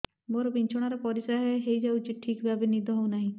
ମୋର ବିଛଣାରେ ପରିସ୍ରା ହେଇଯାଉଛି ଠିକ ଭାବେ ନିଦ ହଉ ନାହିଁ